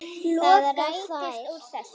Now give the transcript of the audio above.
Það rættist úr þessu.